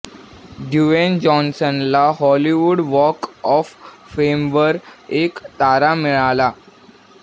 Dwayne जॉन्सनला Hollywood walk of फेमवर एक तारा मिळाला